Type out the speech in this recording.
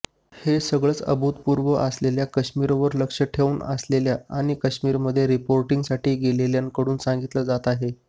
हे सगळंच अभूतपूर्व असल्याचं काश्मीरवर लक्ष ठेवून असलेल्या आणि काश्मीरमध्ये रिपोर्टिंगसाठी गेलेल्यांकडून सांगितलं जात आहे